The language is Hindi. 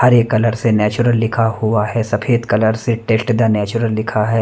हरे कलर से नेचुरल लिखा हुआ है सफेद कलर से टेस्ट द नेचुरल लिखा है।